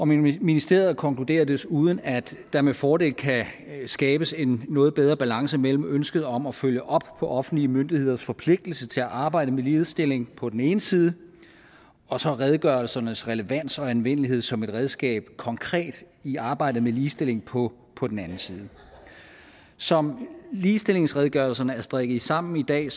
ministeriet konkluderer desuden at der med fordel kan skabes en noget bedre balance mellem ønsket om at følge op på offentlige myndigheders forpligtelse til at arbejde med ligestilling på den ene side og så redegørelsernes relevans og anvendelighed som et redskab konkret i arbejdet med ligestilling på på den anden side som ligestillingsredegørelserne er strikket sammen i dag